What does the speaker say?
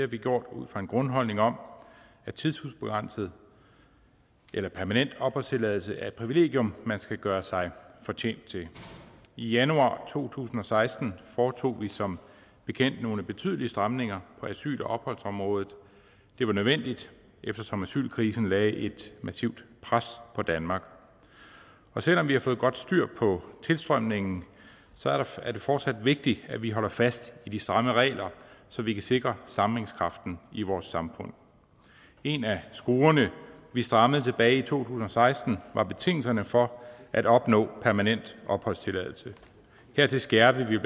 vi gjort ud fra en grundholdning om at tidsubegrænset eller permanent opholdstilladelse er et privilegium man skal gøre sig fortjent til i januar to tusind og seksten foretog vi som bekendt nogle betydelige stramninger på asyl og opholdsområdet det var nødvendigt eftersom asylkrisen lagde et massivt pres på danmark selv om vi har fået godt styr på tilstrømningen er det fortsat vigtigt at vi holder fast i de stramme regler så vi kan sikre sammenhængskraften i vores samfund en af skruerne vi strammede tilbage i to tusind og seksten var betingelserne for at opnå permanent opholdstilladelse hertil skærpede vi